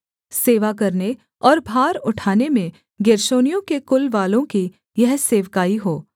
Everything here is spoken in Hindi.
सेवा करने और भार उठाने में गेर्शोनियों के कुलवालों की यह सेवकाई हो